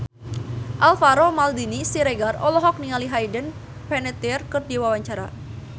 Alvaro Maldini Siregar olohok ningali Hayden Panettiere keur diwawancara